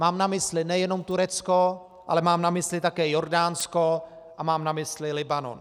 Mám na mysli nejenom Turecko, ale mám na mysli také Jordánsko a mám na mysli Libanon.